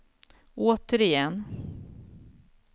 återigen